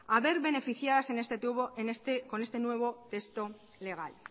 a ver beneficiadas con este nuevo texto legal